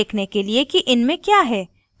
देखने के लिए कि इनमें क्या है type करें: